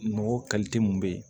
Nɔgɔ mun be yen